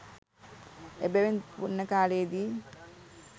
එබැවින් පුණ්‍ය කාලයේදී